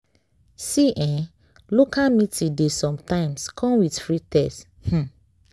see eh local meeting dey sometimes come with free test. um